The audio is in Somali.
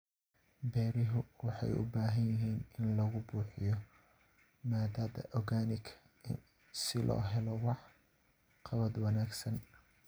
Beeruhu waxay u baahan yihiin in lagu buuxiyo maadada organic si loo helo wax qabad wanaagsan.